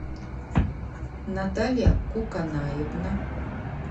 наталья куканаевна